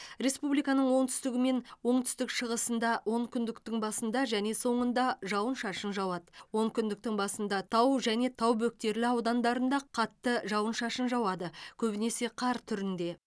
республиканың оңтүстігі мен оңтүстік шығысында онкүндіктің басында және соңында жауын шашын жауады онкүндіктің басында тау және тау бөктерлі аудандарында қатты жауын шашын жауады көбінесе қар түрінде